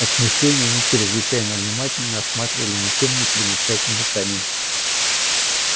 от смущения они чрезвычайно внимательно осматривали ничем не примечательный камень